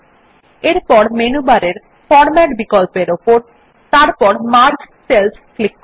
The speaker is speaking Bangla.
এরপর মেনু বারের ফরম্যাট বিকল্প উপর এবং তারপর মার্জ সেলস ক্লিক করুন